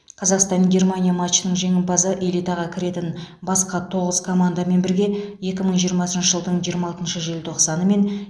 қазақстан германия матчының жеңімпазы элитаға кіретін басқа тоғыз командамен бірге екі мың жирымасыншы жылдың жиырма алтыншы желтоқсаны мен